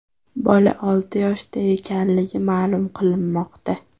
Bola olti yoshda ekanligi ma’lum qilinmoqda.